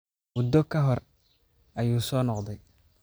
Muddo ka hor ayuu soo noqday.